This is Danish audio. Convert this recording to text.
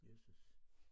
Jøsses